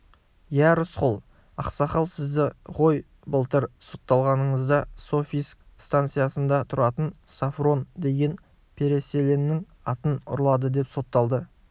иә рысқұл ақсақал сізді ғой былтыр сотталғаныңызда софийск станицасында тұратын софрон деген переселеннің атын ұрлады деп соттады